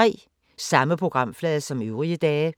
Samme programflade som øvrige dage